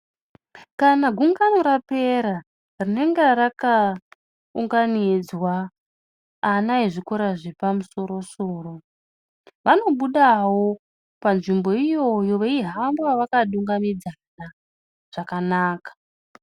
Kana gungano rapera rinenga rakaunganidzwa ana ezvikora zvepamusoro soro, vanobudawo panzvimbo iyoyo veihamba vakadungamidzana zvakanaka.